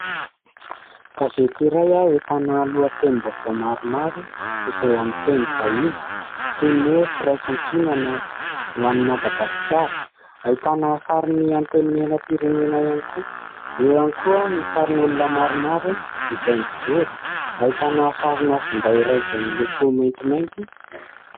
Gazety iray ahitana lohatenim-baovao maromaro izay amin' ny teny vahiny toy ny hoe firaisan-kina na ho any Madagasikara. Ahitana sarin' ny antenimieram-pirenena ihany koa, eo ihany koa ny sarin' olona maromaro izay mijoro. Ahitana sarina finday iray izay miloko maintimainty.